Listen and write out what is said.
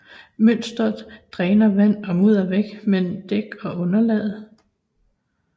Mønsteret dræner vand og mudder væk mellem dæk og underlaget